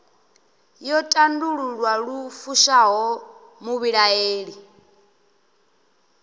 yo tandululwa lu fushaho muvhilaeli